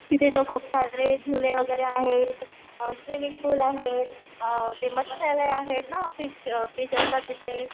तिथे तर खुपसरे झुले वगैरे आहेत, स्विमिंग पूल आहेत अ ते मत्सालय आहेत ना फिश फिश असतात तिथे.